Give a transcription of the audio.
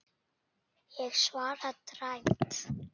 Ég svara dræmt.